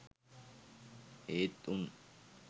ඒත් උන්.